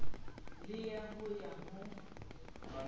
le ya ho ya ho